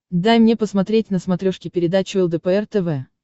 дай мне посмотреть на смотрешке передачу лдпр тв